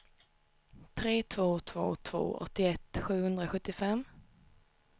tre två två två åttioett sjuhundrasjuttiofem